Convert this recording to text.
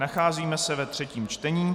Nacházíme se ve třetím čtení.